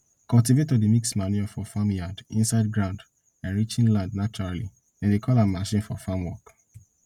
cultivator dey mix manure from farmyard inside ground enriching land naturally dem dey call am machine for farm work